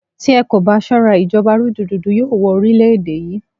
Tí a kò bá ṣọ́ra, ìjọba rúdurùdu yóò wọ orílẹ̀-èdè yí.